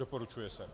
Doporučuje se.